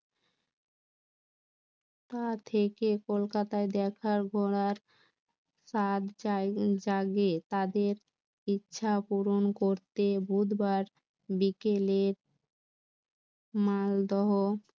থেকে কলকাতায় দেখা ঘোড়ার স্বাদ জাগে তাদের ইচ্ছা পূরণ করতে বুধবার বিকেলের মালদহ